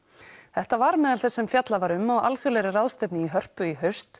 þetta var meðal þess sem fjallað var um á alþjóðlegri ráðstefnu í Hörpu í haust